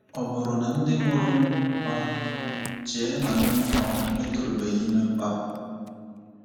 Ọ bụrụ na ndị mụrụ m um chee na mụ um etorubeghị ime mkpapụ?